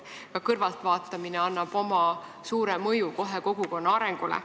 Ka kõrvaltvaatamisel on oma suur mõju kogukonna arengule.